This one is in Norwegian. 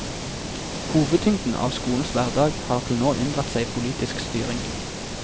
Hovedtyngden av skolens hverdag har til nå unndratt seg politisk styring.